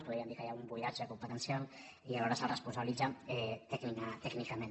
podríem dir que hi ha un buidatge competencial i alhora se’ls responsabilitza tècnicament